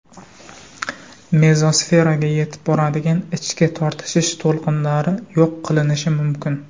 Mezosferaga yetib boradigan ichki tortishish to‘lqinlari yo‘q qilinishi mumkin.